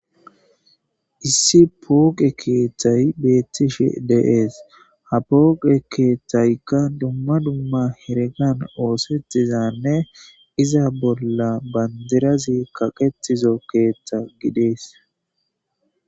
issi pooqe keeththay beettishe de'ees ha pooqe keettaykka dumma dumma heregan oosetizanne iza bolla bandirazi kaqetizo keeththa gidees